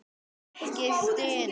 Ekki stunu.